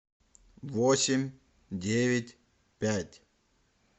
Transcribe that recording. восемь девять пять